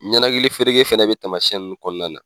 Ɲɛnakili fereke fɛnɛ bɛ tamasiyɛn nunnu kɔnɔna na.